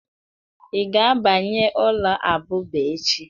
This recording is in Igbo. Ị ga-abanye ụlọ abụba echi